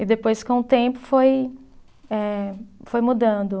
E depois com o tempo foi eh, foi mudando.